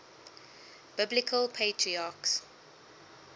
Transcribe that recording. biblical patriarchs